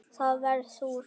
Það varð úr.